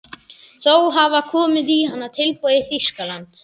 Þó hafa komið í hana tilboð í Þýskalandi.